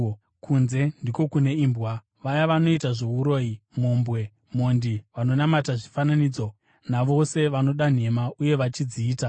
Kunze ndiko kune imbwa, vaya vanoita zvouroyi, mhombwe, mhondi, vanonamata zvifananidzo navose vanoda nhema uye vachidziita.